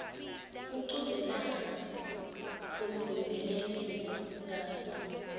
kuchudzelana lokuvimbelekile kanye